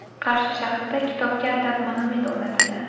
Qarshi shahrida kitobga atab monument o‘rnatildi .